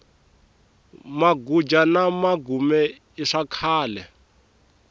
maguja na magume i swakhale